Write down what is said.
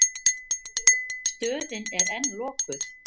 Stöðin er enn lokuð.